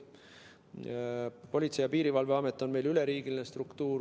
Politsei- ja Piirivalveamet on meil üleriigiline struktuur.